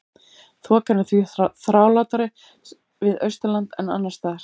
Þokan er því þrálátari við Austurland en annars staðar.